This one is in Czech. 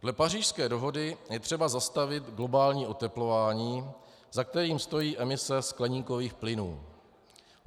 Dle Pařížské dohody je třeba zastavit globální oteplování, za kterým stojí emise skleníkových plynů.